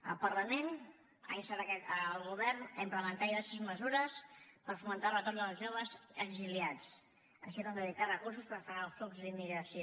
el parlament ha instat el govern a implementar diverses mesures per fomentar el retorn dels joves exiliats així com a dedicar recursos per frenar el flux d’immigració